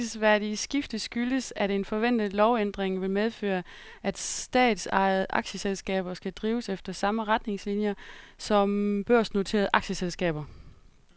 Det bemærkelsesværdige skifte skyldes, at en forventet lovændring vil medføre, at statsejede aktieselskaber skal drives efter samme retningslinier som børsnoterede aktieselskaber.